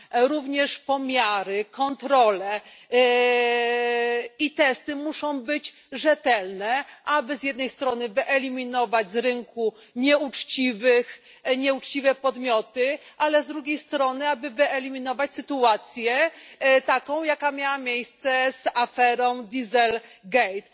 Również pomiary, kontrole i testy muszą być rzetelne, aby z jednej strony wyeliminować z rynku nieuczciwe podmioty, ale z drugiej strony, aby wyeliminować sytuacje, taką jaka miała miejsce z aferą Diesel Gate.